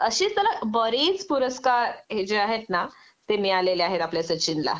अशे त्याला बरेच पुरस्कार हे जे आहेत ना ते मिळालेले आहेत आपल्या सचिन ला